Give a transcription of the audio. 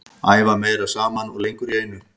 Æfa meira saman og lengur í einu.